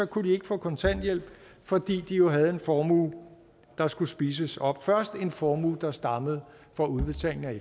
kunne de ikke få kontanthjælp fordi de jo havde en formue der skulle spises op først en formue der stammede fra udbetalingen af